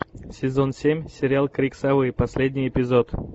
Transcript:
сезон семь сериал крик совы последний эпизод